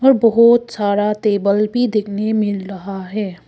बहुत सारा टेबल भी देखने मिल रहा है।